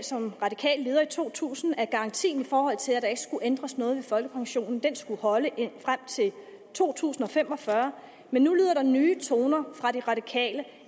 som radikal leder i to tusind udtalt at garantien i forhold til der ikke skulle ændres noget ved folkepensionen skulle holde frem til to tusind og fem og fyrre men nu lyder der nye toner fra de radikale